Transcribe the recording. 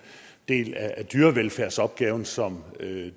del af dyrevelfærdsopgaven som